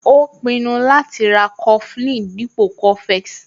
Ó pinnu láti ra coflin dípò cofex